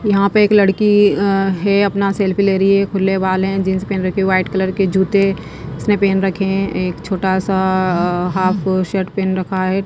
यहां पे एक लड़की अह है अपना सेल्फी ले रही है खुले बाल हैं जींस पहन रखी वाइट कर कलर के जूते इसने पहन रखे हैं एक छोटा सा अह हाफ शर्ट पहन रखा है।